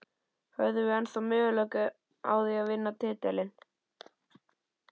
Höfum við ennþá möguleika á því að vinna titilinn?